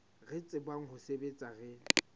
re tsebang ho sebetsa re